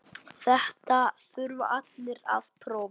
Þetta þurfa allir að prófa.